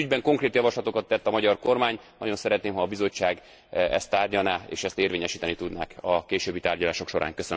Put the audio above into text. Ez ügyben konkrét javaslatokat tett a magyar kormány, nagyon szeretném, ha a Bizottság ezt tárgyalná, és ezt érvényesíteni tudnák a későbbi tárgyalások során.